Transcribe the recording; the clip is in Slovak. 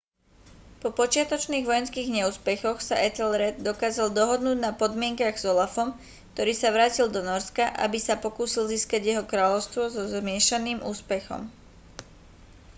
po počiatočných vojenských neúspechoch sa ethelred dokázal dohodnúť na podmienkach s olafom ktorý sa vrátil do nórska aby sa pokúsil získať jeho kráľovstvo so zmiešaným úspechom